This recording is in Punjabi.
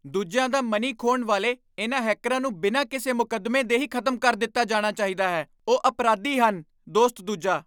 ਦੂਜਿਆਂ ਦਾ ਮਨੀ ਖੋਹਣ ਵਾਲੇ ਇਨ੍ਹਾਂ ਹੈਕਰਾਂ ਨੂੰ ਬਿਨਾਂ ਕਿਸੇ ਮੁਕੱਦਮੇ ਦੇ ਹੀ ਖ਼ਤਮ ਕਰ ਦਿੱਤਾ ਜਾਣਾ ਚਾਹੀਦਾ ਹੈ ਉਹ ਅਪਰਾਧੀ ਹਨ ਦੋਸਤ ਦੂਜਾ